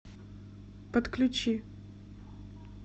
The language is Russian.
подключи